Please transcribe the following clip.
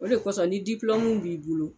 O de kɔsɔn ni b'i bolo